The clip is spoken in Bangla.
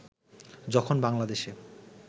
যখন বাংলাদেশে